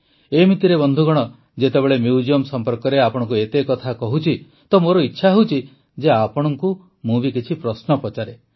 ଏମିତିରେ ବନ୍ଧୁଗଣ ଯେତେବେଳେ ମ୍ୟୁଜିୟମ୍ ସମ୍ପର୍କରେ ଆପଣଙ୍କୁ ଏତେ କଥା କହୁଛି ତ ମୋର ଇଚ୍ଛା ହେଉଛି ଯେ ଆପଣଙ୍କୁ ମୁଁ କିଛି ପ୍ରଶ୍ନ ପଚାରେ